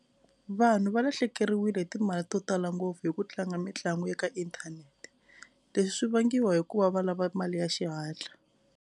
Vanhu va lahlekeriwile hi timali to tala ngopfu hi ku tlanga mitlangu ya ka inthanete leswi swi vangiwa hikuva va lava mali ya xihatla.